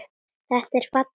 Þetta er falleg saga.